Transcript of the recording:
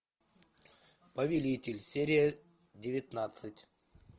повелитель серия девятнадцать